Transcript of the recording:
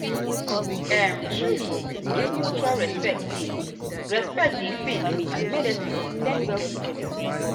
um truly if mutual respect dey respect dey faith and medicine go blend well together.